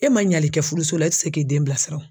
E ma ɲɛli kɛ furuso la e ti se k'i den bilasira